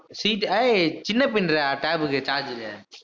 C Type ஏய் சின்ன பின்னுடா tab க்கு charger உ